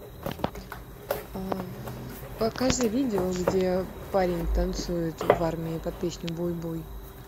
покажи видео где парень танцует в армии под песню буй буй